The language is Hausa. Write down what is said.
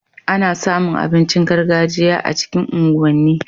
Ana samu abincin gargajiya a cikin unguwan ni